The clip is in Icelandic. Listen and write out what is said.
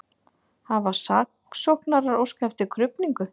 Hafa saksóknarar óskað eftir krufningu